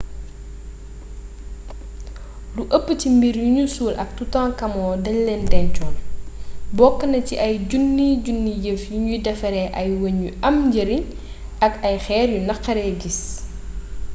lu ëpp ci mbir yuñu suul ak toutankhamon dañ leen dencoon bokk na ci ay junniy junni yëf yuñu defaree ay weñ yu am njariñ ak ay xeer yu naxaree gis